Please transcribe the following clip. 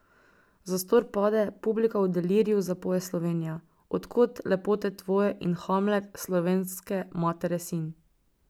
Zastor pade, publika v deliriju zapoje Slovenija, od kod lepote tvoje in Hamlet, slovenske matere sin.